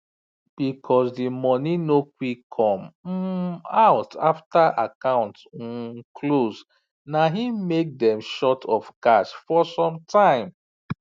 because the money no quick come um out after account um close na hin make dem short of cash for some time